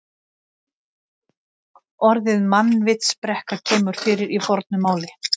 Orðið mannvitsbrekka kemur fyrir í fornu máli.